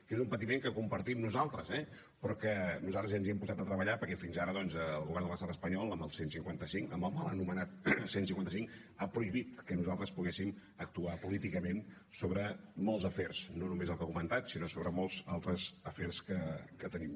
que és un patiment que compartim nosaltres eh però que nosaltres ens hi hem posat a treballar perquè fins ara doncs el govern de l’estat espanyol amb el cent i cinquanta cinc amb el mal anomenat cent i cinquanta cinc ha prohibit que nosaltres poguéssim actuar políticament sobre molts afers no només el que ha comentat sinó sobre molts altres afers que tenim